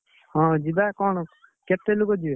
ହଁ ଯିବା କଣ, ଅଛି, କେତେ ଲୋକ ଯିବେ?